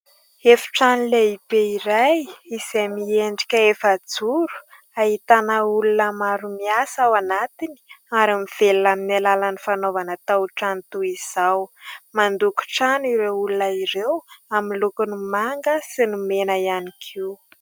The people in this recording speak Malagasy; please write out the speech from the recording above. Efi-trano lehibe iray izay miendrika efajoro; ahitana olona maro miasa ao anatiny ary mivelona amin'ny alalan'ny fanaovana tao-trano toy izao; mandoko trano ireo olona ireo amin'ny lokony manga sy ny mena ihany koa.